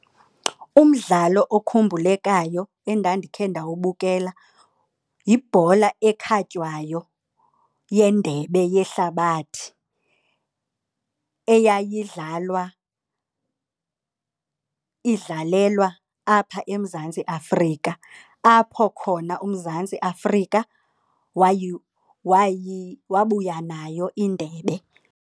Umdlalo ukhumbulekayo endandikhe ndawubukela yibhola ekhatywayo yendebe yehlabathi eyayidlalwa idlalelwa apha eMzantsi Afrika. Apho khona uMzantsi Afrika wabuya nayo indebe.